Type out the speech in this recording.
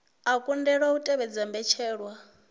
a kundelwa u tevhedza mbetshelwa